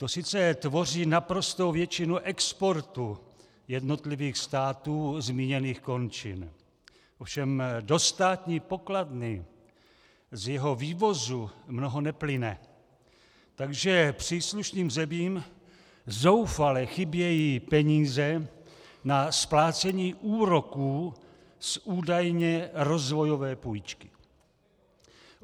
To sice tvoří naprostou většinu exportu jednotlivých států zmíněných končin, ovšem do státní pokladny z jeho vývozu mnoho neplyne, takže příslušným zemím zoufale chybějí peníze na splácení úroků z údajně rozvojové půjčky.